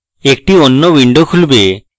একটি অন্য window খুলবে